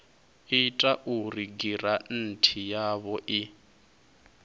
ita uri giranthi yavho i